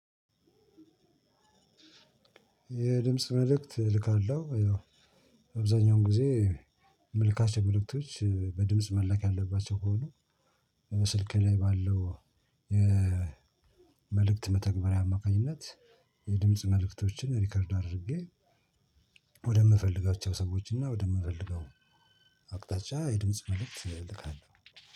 የድምጽ መልእክት እልካለሁ። አብዛኛውን ጊዜ እምልካቸው መልእክቶች በድምጽ መላክ ያለባቸው ከሆኑ ስልክ ላይ ባለው። መልእክት መተግበሪያ አማካኝነት የድምጽ መልእክቶችን ሪከርድ አድርጌ ወደምፈልጋቸው ሰወችና ወደምፈልገው አቅጣጮ የድምጽ መልእክት እልካለሁ።